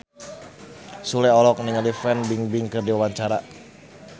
Sule olohok ningali Fan Bingbing keur diwawancara